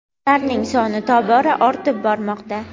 ularning soni tobora ortib bormoqda.